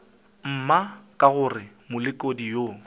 mma ka gore molekodi yo